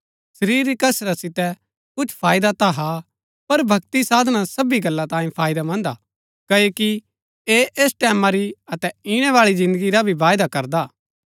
शरीर री कसरत सितै कुछ फाईदा ता हा पर भक्ति साधना सबी गल्ला तांई फायदैमन्‍द हा क्ओकि ऐह ऐस टैमां री अतै ईणैबाळै जिन्दगी रा भी वायदा करदा हा